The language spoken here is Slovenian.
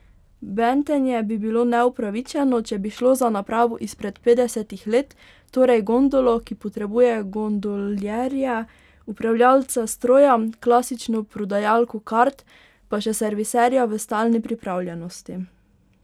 Bentenje bi bilo neupravičeno, če bi šlo za napravo izpred petdesetih let, torej gondolo, ki potrebuje gondoljerje, upravljalca stroja, klasično prodajalko kart, pa še serviserja v stalni pripravljenosti.